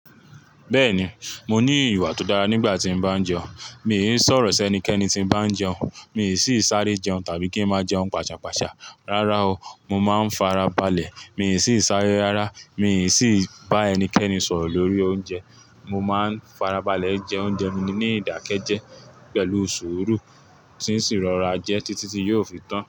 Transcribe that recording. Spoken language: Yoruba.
Bẹ́ẹ̀ni, mo ní ìwà tó dára nígbà tí ń bá jẹun. Mi i sọ̀rọ̀ sí ẹnikẹ́ni tí ń bá jẹun, mi i sì sáré jẹun tàbí kí ń máa jẹun pàṣàpàṣà. Rárá o, mo máa ń farabalẹ̀, mi ò sì sáré rárá, mi ò sì bá ẹnikẹ́ni sọ̀rọ̀ lórí oúnjẹ. Mo máa ń farabalẹ̀ jẹ oúnjẹ mi ní ìdákẹ́ jẹ́ pẹ̀lú sùúrù, tí n sì ń rọra jẹ títí tí yóò fi tán.